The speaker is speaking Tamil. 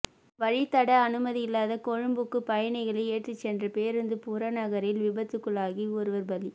வழித்தட அனுமதி இல்லாது கொழும்புக்கு பயணிகளை ஏற்றிச் சென்ற பேரூந்து பூநகரியில் விபத்துக்குள்ளாகி ஒருவர் பலி